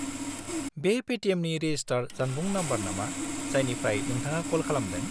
-बे पेटिएमनि रेजिस्टार जानबुं नम्बर नामा जायनिफ्राय नोंथाङा कल खालामदों?